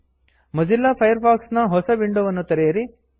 Mozilla Firefox ನ ಹೊಸ ವಿಂಡೋವನ್ನು ತೆರೆಯಿರಿ